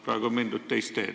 Praegu on mindud teist teed.